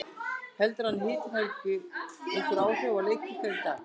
Heldurðu að hitinn hafi haft einhver áhrif á leik ykkar í dag?